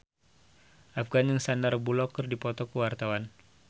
Afgan jeung Sandar Bullock keur dipoto ku wartawan